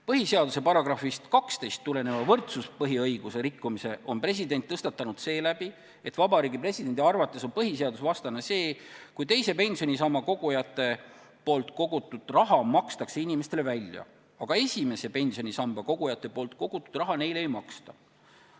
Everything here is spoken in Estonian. Põhiseaduse §-st 12 tuleneva võrdsuspõhiõiguse rikkumise on president tõstatanud seeläbi, et presidendi arvates on põhiseadusvastane, kui teise pensionisambasse kogujate kogutud raha makstakse inimestele välja, aga esimesse pensionisambasse kogujate kogutud raha välja ei maksta.